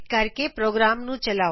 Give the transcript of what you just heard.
ਆਓ ਹੁਣ ਪ੍ਰੋਗਰਾਮ ਨੂੰ ਫਿਰ ਤੋ ਚਲਾਇਏ